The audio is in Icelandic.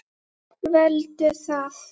Veldu það.